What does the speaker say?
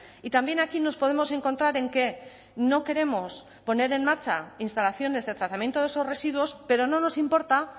y también aquí nos podemos encontrar en que no queremos poner en marcha instalaciones de tratamiento de esos residuos pero no nos importa